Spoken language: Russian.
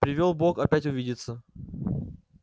привёл бог опять увидеться